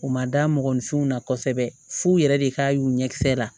U ma da mɔgɔninfinw na kosɛbɛ f'u yɛrɛ de k'a y'u ɲɛ kisɛ la